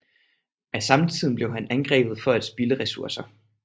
Af samtiden blev han angrebet for at spilde ressourcer